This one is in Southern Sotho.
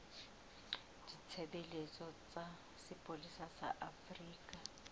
ditshebeletso tsa sepolesa sa afrika